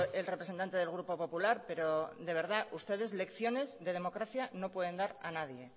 el representante del grupo popular pero de verdad ustedes lecciones de democracia no pueden dar a nadie